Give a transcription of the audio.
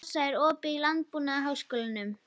Sossa, er opið í Landbúnaðarháskólanum?